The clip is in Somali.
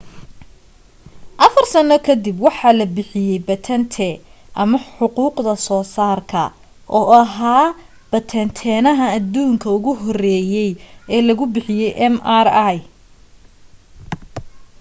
afar sano ka dib waxaa la bixiyay batente ama xuquuqda soo saarka oo ahaa bateentaha aduunka ugu horeeyey ee lagu bixiyay mri